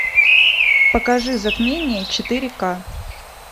покажи затмение четыре ка